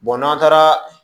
n'an taara